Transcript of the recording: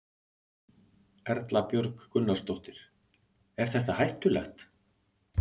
Erla Björg Gunnarsdóttir: Er þetta hættulegt?